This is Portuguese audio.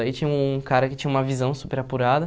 Aí tinha um cara que tinha uma visão super apurada.